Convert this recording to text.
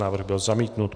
Návrh byl zamítnut.